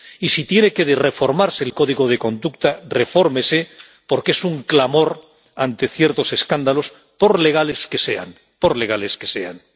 Y si tiene que reformarse el código de conducta, refórmese, porque es un clamor ante ciertos escándalos por legales que sean, por legales que sean.